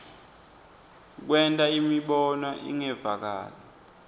kwenta imibono ingevakali